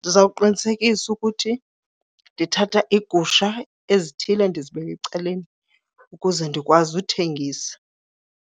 Ndiza kuqinisekisa ukuthi ndithatha iigusha ezithile ndizibeke ecaleni ukuze ndikwazi uthengisa.